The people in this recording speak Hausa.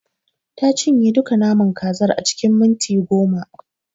Ta cinye duka naman kazar a cikin minti goma.